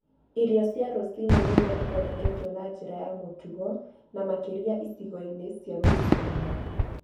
Irio cia rũcinĩ nĩ iria ithondeketwo na njĩra ya mũtugo, na makĩria icigo-inĩ cia mĩciĩ-inĩ.